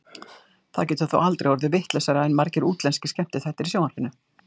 Það getur þó aldrei orðið vitlausara en margir útlenskir skemmtiþættir í sjónvarpinu.